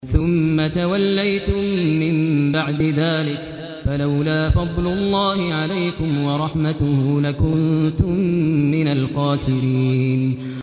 ثُمَّ تَوَلَّيْتُم مِّن بَعْدِ ذَٰلِكَ ۖ فَلَوْلَا فَضْلُ اللَّهِ عَلَيْكُمْ وَرَحْمَتُهُ لَكُنتُم مِّنَ الْخَاسِرِينَ